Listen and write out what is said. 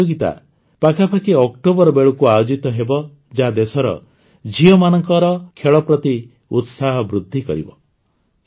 ଏହି ପ୍ରତିଯୋଗିତା ପାଖାପାଖି ଅକ୍ଟୋବର ବେଳକୁ ଆୟୋଜିତ ହେବ ଯାହା ଦେଶର ଝିଅମାନଙ୍କର ଖେଳ ପ୍ରତି ଉତ୍ସାହ ବୃଦ୍ଧି କରିବ